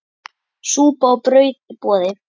Súpa og brauð í boði.